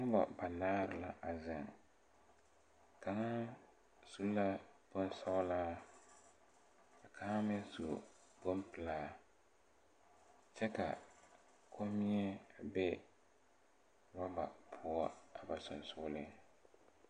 Nobɔ banaare la a zeŋ kaŋa su la bonsɔglaa ka kaŋ meŋ su bonpelaa kyɛ ka kommie be rɔba poɔ a ba seŋsugliŋ.